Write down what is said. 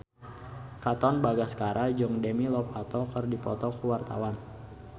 Katon Bagaskara jeung Demi Lovato keur dipoto ku wartawan